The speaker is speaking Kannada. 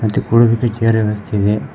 ಚಿಕ್ ಹುಡುಗ್ರಿಗೆ ಚೇರ್ ವ್ಯವಸ್ಥೆ ಇದೆ.